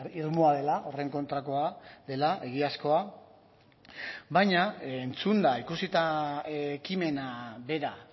irmoa dela horren kontrakoa dela egiazkoa baina entzunda ikusita ekimena bera